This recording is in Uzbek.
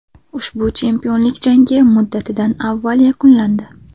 Ushbu chempionlik jangi muddatidan avval yakunlandi.